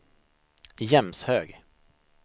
Jämshög